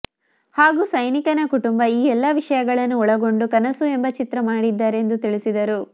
ಹಾಗು ಸೈನಿಕನ ಕುಟುಂಬ ಈ ಎಲ್ಲಾ ವಿಷಯಗಳನ್ನು ಒಳಗೊಂಡು ಕನಸು ಎಂಬಾ ಚಿತ್ರ ಮಾಡಿದ್ದಾರೆಂದು ತಿಳಿಸಿದರು